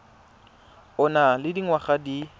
o nang le dingwaga di